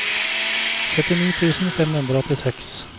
syttini tusen fem hundre og åttiseks